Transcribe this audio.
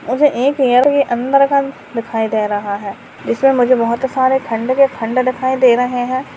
मुझे एक एयर के अन्दर का दिखाई दे रहा है जिसमें मुझे बहोत सारे खंडर के खंडर दिखाई दे रहे हैं।